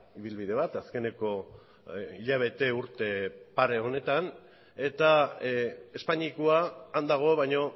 ibilbide bat azkeneko hilabete urte pare honetan eta espainiakoa han dago baino